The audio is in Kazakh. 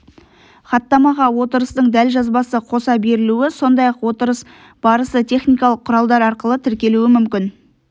хаттамаға отырыстың дәлжазбасы қоса берілуі сондай-ақ отырыс барысы техникалық құралдар арқылы тіркелуі мүмкін